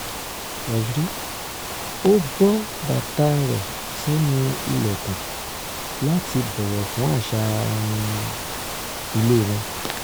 ó bọ́ bàtà rẹ̀ sẹ́nu ìlẹ̀kùn láti bọ̀wọ̀ fún àṣà um ilé wọn